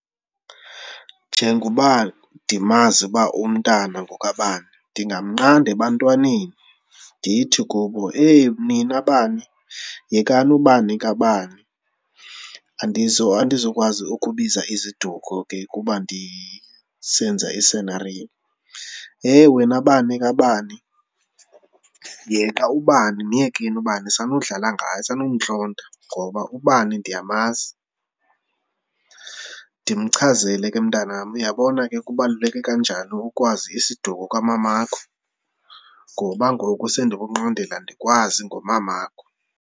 Njengoba ndimazi uba umntana ngokabani ndingamnqanda ebantwaneni ndithi kubo eyi, nina bani yekani ubani kabani. Andizukwazi ukubiza iziduko ke kuba ndisenza isinariyo. Heyi, wena bani kabani, yena ubani myekeni ubani sanudlala ngaye, sanukumntlonta ngoba ubani ndiyamazi. Ndimchazele ke mntanam uyabona ke kubaluleke kanjani ukwazi isiduko kamamakho ngoba ngoku sendikunqandela ndikwazi ngomamakho.